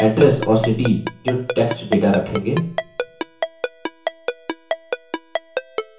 address और city जो text data रखेंगे